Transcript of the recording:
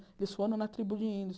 Eles foram na tribo de índios.